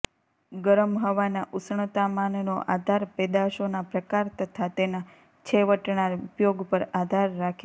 ગરમ હવાના ઉષ્ણતામાનનો આધાર પેદાશોના પ્રકાર તથા તેના છેવટણા ઉપયોગ પર આધાર રાખે છે